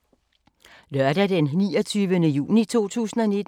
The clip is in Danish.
Lørdag d. 29. juni 2019